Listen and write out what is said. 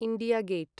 India gate